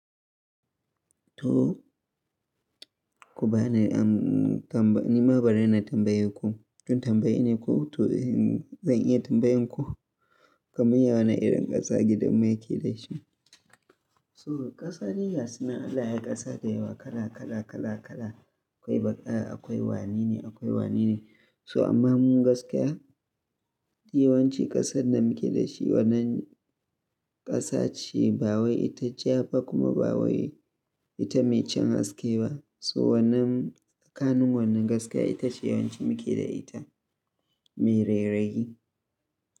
To, ko ba na tamba, nima bana da tambayanku? Tun tambayi ne ko to zan iya tambayanku? Kamun yawan na irin ƙasa gidan muke dashi. So ƙasa dai gasunan Allah yai ƙasa da yawa kala kala kala kala. Akwai baƙa, akwai wanene, akwai wanene. So amma mun gaskiya, yawanci ƙasar da muke da shi wannan ƙasa ce ba wai ita ja ba kuma ba wai ita mai cin haske ba. So wannan, kanun wannan gaskiya ita ce yawanci muke da ita mai rera rayi.